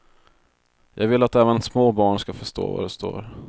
Jag vill att även små barn ska förstå vad det står.